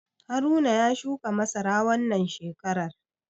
Haruna ya shuka masara wannan shekarar.